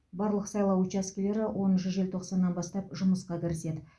барлық сайлау учаскелері оныншы желтоқсаннан бастап жұмысқа кіріседі